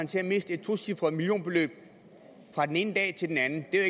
til at miste et tocifret millionbeløb fra den ene dag til den anden det er